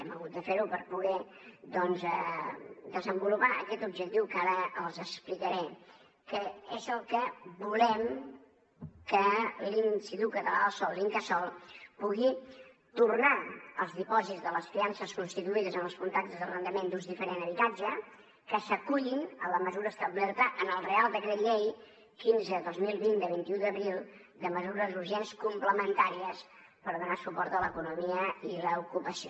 hem hagut de fer ho per poder doncs desenvolupar aquest objectiu que ara els explicaré que és el que volem que l’institut català del sòl l’incasòl pugui tornar els dipòsits de les fiances constituïdes en els contractes d’arrendament d’ús diferent d’habitatge que s’acullin a la mesura establerta en el reial decret llei quinze dos mil vint de vint un d’abril de mesures urgents complementàries per donar suport a l’economia i l’ocupació